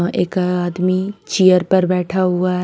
एक आदमी चेयर पर बैठा हुआ है।